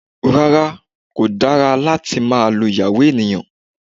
Rárá, kò dára láti máa lu ìyàwó ènìyàn